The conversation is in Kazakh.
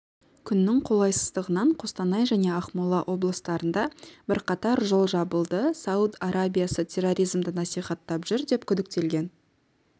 күннің қолайсыздығынан қостанай және ақмола облыстарында бірқатар жол жабылды сауд арабиясы терроризмді насихаттап жүр деп күдіктелген